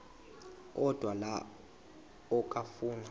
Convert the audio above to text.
odwa la okafuna